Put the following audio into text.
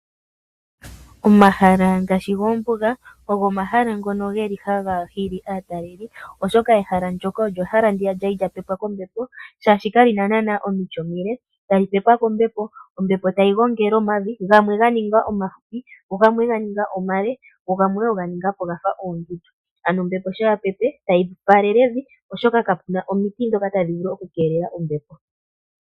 Omahala ngaashi goombuga ogo omahala ngono haga hili aatalelipo oshoka ehala ndyoka ehala ndyono lyali lya pepwa kombepo oshoka kali na naana omiti omile, tali pepwa kombepo, ombepo tayi gongele omavi gamwe ga ningwa omafupi, gamwe oga ninga omale, go gamwe oga ninga ga fa oondundu ano ombepo uuna ya pepe tayi faalele evi oshoka kapu na omiti ndhoka tadhi vulu okukelela ombepo.